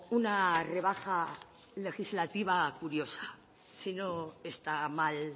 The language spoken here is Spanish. una rebaja legislativa curiosa si no está mal